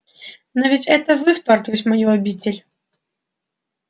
но ведь это вы вторглись в мою обитель